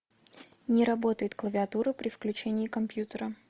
не работает клавиатура при включении компьютера